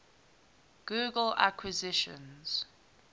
google acquisitions